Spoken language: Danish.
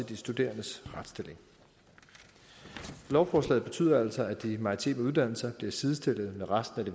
de studerendes retsstilling lovforslaget betyder altså at de maritime uddannelser bliver sidestillet med resten af de